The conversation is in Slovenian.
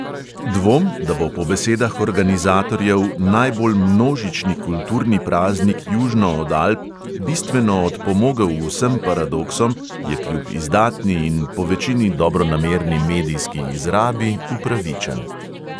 Dvom, da bo po besedah organizatorjev "najbolj množični kulturni praznik južno od alp" bistveno odpomogel vsem paradoksom, je kljub izdatni in povečini dobronamerni medijski izrabi upravičen.